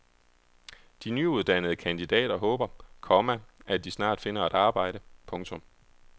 De nyuddannede kandidater håber, komma at de snart finder et arbejde. punktum